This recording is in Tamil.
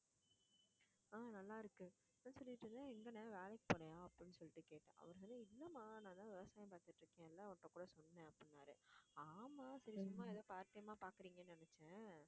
ஆஹ் நல்லா இருக்கு என்ன சொல்லிட்டு இருந்தேன் எங்கண்ணே வேலைக்கு போறியா அப்படின்னு சொல்லிட்டு கேட்டேன் அவரு இல்லம்மா நான்தான் விவசாயம் பார்த்துட்டிருக்கேன் எல்லாம் அவர்ட்ட கூட சொன்னேன் அப்படின்னாரு ஆமா ஏதோ part time ஆ பாக்குறீங்கன்னு நினைச்சேன்